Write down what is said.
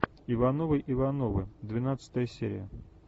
ивановы ивановы двенадцатая серия